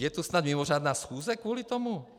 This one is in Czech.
Je tu snad mimořádná schůze kvůli tomu?